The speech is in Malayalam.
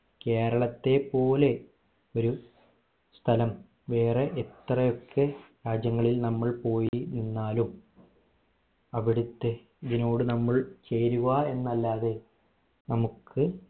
കേരളത്തെ പോലെ ഒരു സ്ഥലം വേറെ എത്രയൊക്കെ രാജ്യങ്ങളിൽ നമ്മൾ പോയി നിന്നാലും അവിടുത്തെ ഇതിനോട് നമ്മൾ ചേരുവ എന്നല്ലാതെ നമ്മുക്